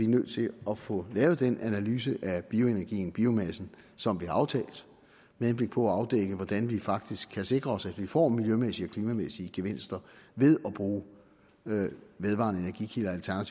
nødt til at få lavet den analyse af bioenergien biomassen som vi har aftalt med henblik på at afdække hvordan vi faktisk kan sikre os at vi får miljømæssige og klimamæssige gevinster ved at bruge vedvarende